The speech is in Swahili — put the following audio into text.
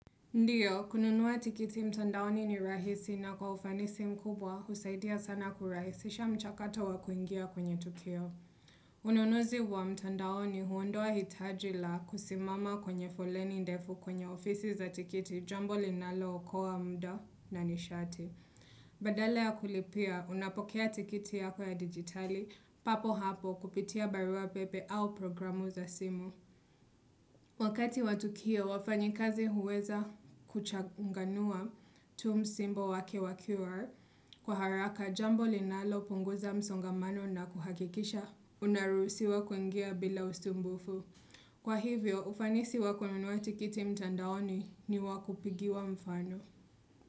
Ndiyo, kununua tikiti mtandaoni ni rahisi na kwa ufanisi mkubwa husaidia sana kurahisisha mchakato wa kuingia kwenye tukio. Ununuzi wa mtandaoni huondoa hitaji la kusimama kwenye foleni ndefu kwenye ofisi za tikiti jambo linalookowa muda na nishati. Badala ya kulipia, unapokea tikiti yako ya digitali, papo hapo kupitia barua pepe au programu za simu. Wakati wa tukio wafanyikazi huweza kuchanganua tu msimbo wake wa QR kwa haraka jambo linalo punguza msongamano na kuhakikisha unaruhusiwa kuingia bila usumbufu. Kwa hivyo ufanisi wa kununua tikiti mtandaoni ni wa kupigiwa mfano.